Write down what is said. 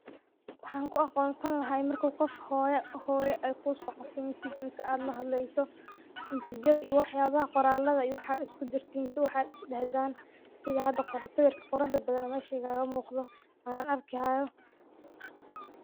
Waxaan ku aqoonsan laha marku qof hooyo ay ku so qorto message mise aad lahadlayso mesajada iyo waxyaabaha qoraalada iyo waxa aa isku dirtiin mise waxaad is dahdaan sida hada qoran sawirkan quruxda badan oo mesha igaga muqdo ayan arki haaya.